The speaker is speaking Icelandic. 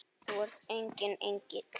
Þú ert enginn engill.